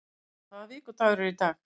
Iðunn, hvaða vikudagur er í dag?